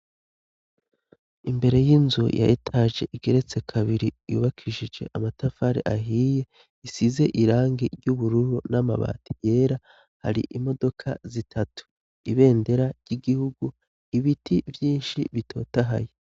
Imbere y'inzu ya etaje igeretse kabiri yubakishije amatafari ahiye isize irangi ry'ubururu n'amabati yera hari imodoka zitatu, ibendera ry'igihugu ibiti byinshi bitotahaye.